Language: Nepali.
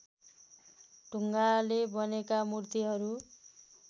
ढुङ्गाले बनेका मूर्तिहरू